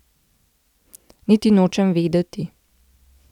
Niti nočem vedeti.